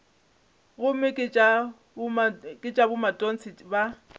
gomme ke tša bomatontshe ba